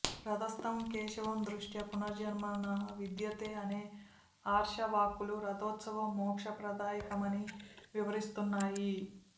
రథస్థం కేశవం దృష్ట్యా పునర్జన్మ నవిద్యతే అనే ఆర్షవాక్కులు రథోత్సవం మోక్ష ప్రదాయకమని వివరిస్తున్నాయి